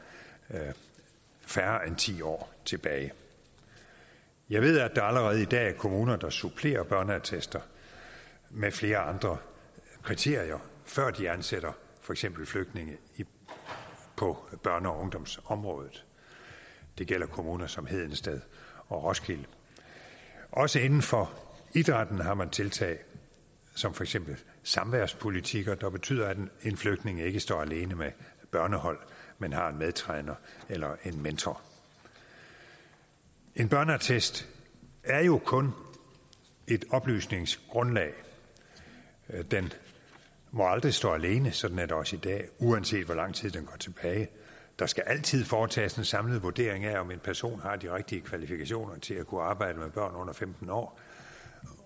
færre end ti år tilbage jeg ved at der allerede i dag er kommuner der supplerer børneattester med flere andre kriterier før de ansætter for eksempel flygtninge på børne og ungdomsområdet det gælder kommuner som hedensted og roskilde også inden for idrætten har man tiltag som for eksempel samværspolitikker der betyder at en flygtning ikke står alene med børnehold men har en medtræner eller en mentor en børneattest er jo kun et oplysningsgrundlag den må aldrig stå alene sådan er det også i dag uanset hvor lang tid den går tilbage der skal altid foretages en samlet vurdering af om en person har de rigtige kvalifikationer til at kunne arbejde med børn under femten år